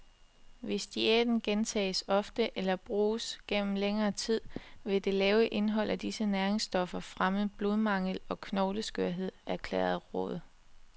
Hvis diæten gentages ofte eller bruges gennem længere tid, vil det lave indhold af disse næringsstoffer fremme blodmangel og knogleskørhed, erklærer rådet.